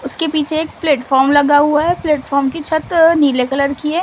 उसके पीछे एक प्लेटफार्म लगा हुआ है प्लेटफार्म की छत नीले कलर की है।